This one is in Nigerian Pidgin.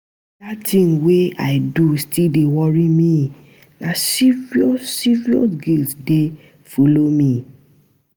Dat tin wey I do still dey worry me, na serious serious guilt dey folo me.